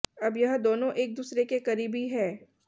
अब यह दोनों एक दूसरे के करीबी हैं